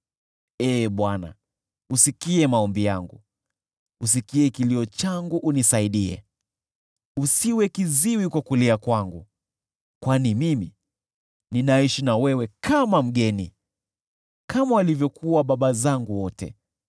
“Ee Bwana , usikie maombi yangu, usikie kilio changu unisaidie, usiwe kiziwi kwa kulia kwangu. Kwani mimi ninaishi na wewe kama mgeni, kama walivyokuwa baba zangu wote,